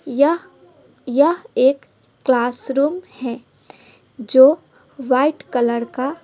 यह यह एक क्लासरूम है जो वाइट कलर का--